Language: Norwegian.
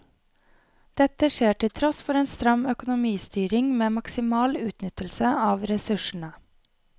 Dette skjer til tross for en stram økonomistyring med maksimal utnyttelse av ressursene.